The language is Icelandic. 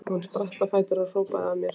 Hún spratt á fætur og hrópaði að mér